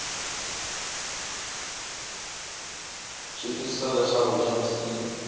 swi twisisa leswaku gems yi